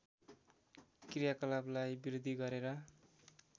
क्रियाकलापलाई वृद्धि गरेर